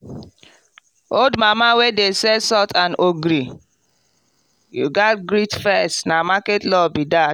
old mama wey dey sell salt and ogiri? you gatz greet first na market law be that.